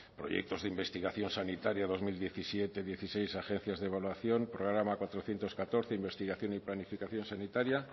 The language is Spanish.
proyectos de investigación sanitarias dos mil diecisiete dieciséis agencias de evaluación programa cuatrocientos catorce investigación y planificación sanitaria